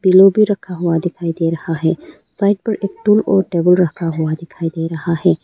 ये भी रखा हुआ दिखाई दे रहा है साइड पर स्टूल और टेबल रखा हुआ दिखाई दे रहा है।